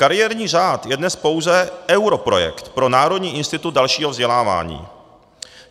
Kariérní řád je dnes pouze europrojekt pro Národní institut dalšího vzdělávání.